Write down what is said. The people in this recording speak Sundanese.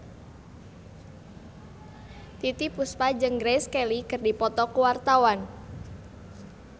Titiek Puspa jeung Grace Kelly keur dipoto ku wartawan